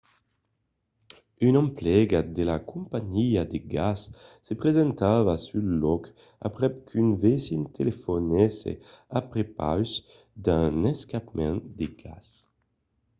un emplegat de la companhiá de gas se presentava sul lòc aprèp qu’un vesin telefonèsse a prepaus d’un escapament de gas